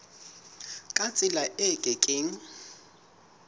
ka tsela e ke keng